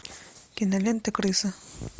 кинолента крыса